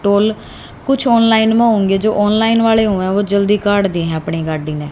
toll कुछ online में होंगे जो ऑनलाइन वाले हुऐ वो जल्दी काट दि है अपनी गाडी ने--